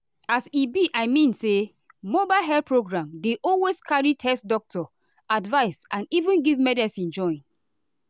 as e be i mean say mobile health program dey always carry test doctor advice and even give medicine join.